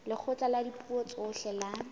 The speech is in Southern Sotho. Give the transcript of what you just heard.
lekgotla la dipuo tsohle la